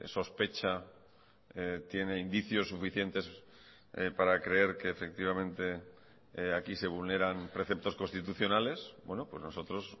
sospecha tiene indicios suficientes para creer que efectivamente aquí se vulneran preceptos constitucionales nosotros